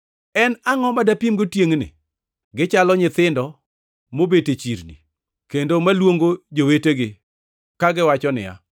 “En angʼo ma dapimgo tiengʼni? Gichalo nyithindo mobet e chirni kendo maluongo jowetegi kagiwacho niya,